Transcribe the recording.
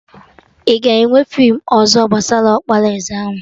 Aga enwe feem ọzọ gbasara ọkpara eze ahụ?